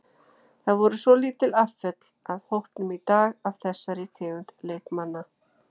Það voru svolítil afföll af hópnum í dag af þessari tegund leikmanna.